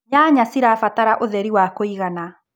nyanya cirabatara ũtheri wa kũigana